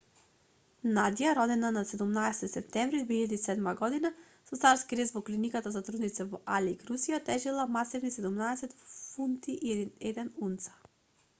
надја родена на 17-ти септември 2007 година со царски рез во клиниката за трудници во алејск русија тежела масивни 17 фунти и 1 унца